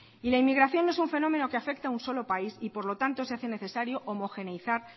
y la inmigración de no es un fenómeno que afecta a un solo país y por lo tanto se hace necesario homogeneizar